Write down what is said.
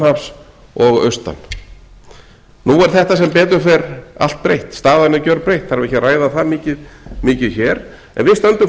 hafs og austan nú er þetta sem betur fer allt breytt staðan er gjörbreytt það þarf ekki að ræða það mikið hér en við stöndum